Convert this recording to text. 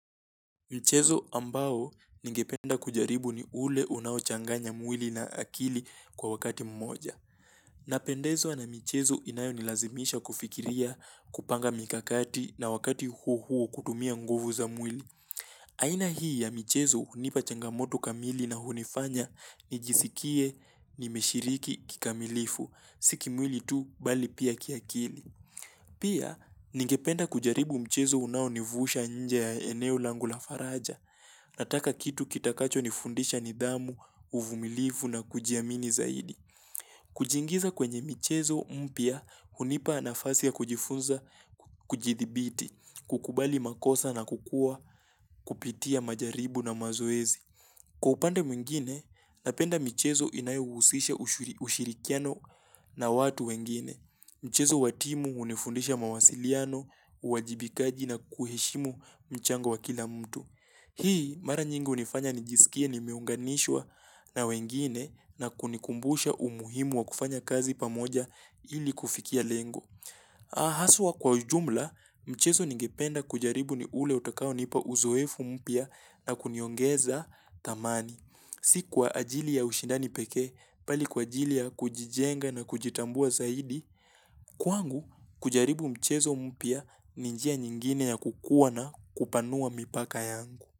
Michezo ambao ningependa kujaribu ni ule unawo changanya mwili na akili kwa wakati mmoja. Napendezwa na michezo inayo nilazimisha kufikiria kupanga mikakati na wakati huo huo kutumia nguvu za mwili. Aina hii ya michezo hunipa changamoto kamili na hunifanya nijisikie nimeshiriki kikamilifu si kimwili tu bali pia kiakili. Pia ningependa kujaribu mchezo unao nivusha nje ya eneo langu la faraja. Nataka kitu kitakacho nifundisha nidhamu, uvumilivu na kujiamini zaidi. Kujiingiza kwenye michezo mpya, hunipa nafasi ya kujifunza, kujidhibiti, kukubali makosa na kukua, kupitia majaribu na mazoezi. Kwa upande mwingine, napenda michezo inayuhusisha ushirikiano na watu wengine. Mchezo wa timu hunifundisha mawasiliano, uwajibikaji na kuheshimu mchango wa kila mtu. Hii mara nyingi hunifanya nijisikie nimeunganishwa na wengine na kunikumbusha umuhimu wa kufanya kazi pamoja ili kufikia lengo. Aah haswa kwa ujumla, mchezo ningependa kujaribu ni ule utakao nipa uzoefu mpya na kuniongeza thamani. Si kwa ajili ya ushindani pekee mbali kwa ajili ya kujijenga na kujitambua zaidi, kwangu kujaribu mchezo mpya ni njia nyingine ya kukua na kupanua mipaka yangu.